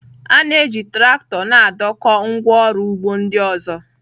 A na-eji traktọ na-adọkpụ ngwá ọrụ ugbo ndị ọzọ.